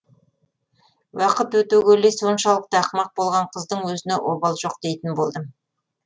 уақыт өте келе соншалықты ақымақ болған қыздың өзіне обал жоқ дейтін болдым